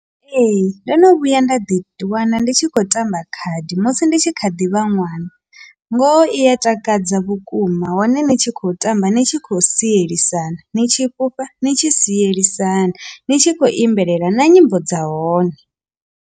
Ee, ndo no vhuya nda ḓi wana ndi tshi khou tamba khadi musi ndi tshi kha ḓi vha ṅwana, ngoho iya takadza vhukuma hone ni tshi khou tamba ni tshi khou sielisana ni tshi fhufha ni tshi sielisana ni tshi khou imbelela na nyimbo dza hone.